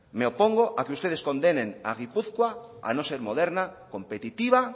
me opongo a que ustedes condenen a gipuzkoa a no ser moderna competitiva